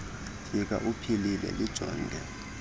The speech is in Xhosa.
fika uphilile lijonge